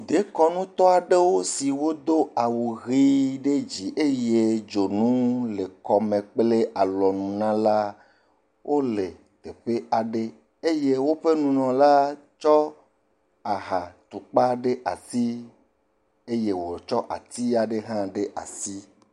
Dekɔnutɔ aɖewo si do awuʋe ɖe dzi eye dzonu le kɔme kple alɔnu na la, wole teƒe aɖe eye woƒe nunɔnɔla tsɔ ahatukpa ɖe asi eye wòtsɔ ati aɖe hã ɖe asi.